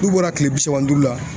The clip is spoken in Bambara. N'u bɔra kile bi saba ni duuru la